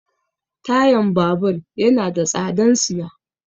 Tayan babur yana da tsadan siya.